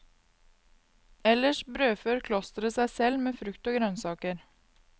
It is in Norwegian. Ellers brødfør klosteret seg selv med frukt og grønnsaker.